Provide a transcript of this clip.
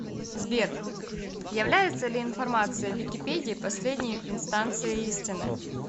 сбер является ли информация в википедии последней инстанцией истины